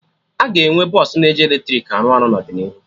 Aga enwe bọsụ na eji eletrik arụ ọrụ n'ọdịnihu